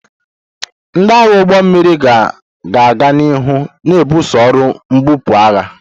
Ndị agha ụgbọ mmiri ga-aga n'ihu na-ebuso ọrụ mbupu agha.